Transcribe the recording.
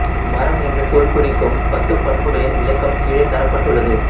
மறம் என்ற சொல் குறிக்கும் பத்துப் பண்புகளின் விளக்கம் கீழே தரப்பட்டுள்ளது